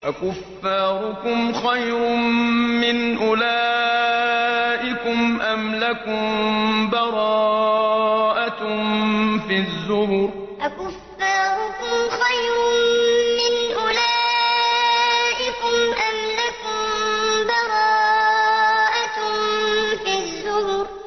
أَكُفَّارُكُمْ خَيْرٌ مِّنْ أُولَٰئِكُمْ أَمْ لَكُم بَرَاءَةٌ فِي الزُّبُرِ أَكُفَّارُكُمْ خَيْرٌ مِّنْ أُولَٰئِكُمْ أَمْ لَكُم بَرَاءَةٌ فِي الزُّبُرِ